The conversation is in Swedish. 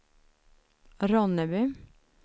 Ronneby